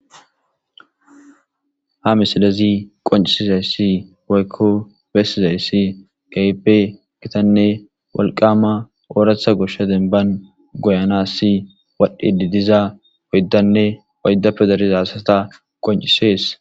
ha misilezi qoncisizayssi woykko bessizayssi kehipe gitanne walqama ooratha goshsha denban goyanassi wadhdhi didiza woyddanne woyda pedariza hasata qoncisees